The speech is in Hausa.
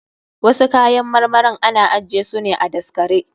Wasu kayan marmarin ana ajje su ne a daskare.